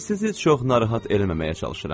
Sizi çox narahat eləməməyə çalışıram.